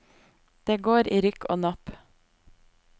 Det går i rykk og napp.